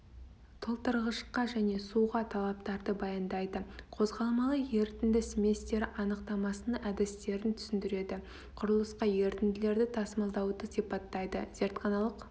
толтырғышқа және суға талаптарды баяндайды қозғалмалы ерітінді сместері анықтамасының әдістерін түсіндіреді құрылысқа ерітінділерді тасымалдауды сипаттайды зертханалық